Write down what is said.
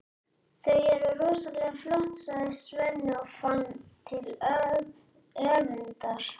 Þau eru rosalega flott, sagði Svenni og fann til öfundar.